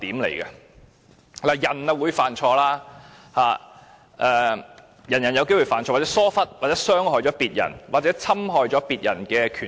人類是會犯錯的，人人都有機會犯錯，或會疏忽、會傷害他人或侵害別人權益。